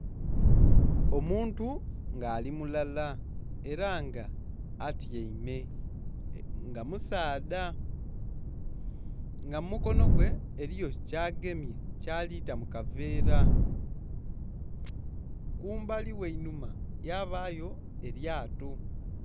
Omuntu nga ali mulala ela nga atyaime nga musaadha. Nga mu mukono gwe eliyo kyagemye kyali ta mu kaveera , kumbali ghe einhuma yabayo elyato.